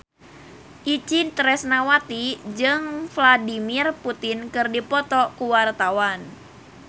Itje Tresnawati jeung Vladimir Putin keur dipoto ku wartawan